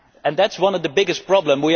That is one of the biggest problems